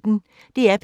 DR P1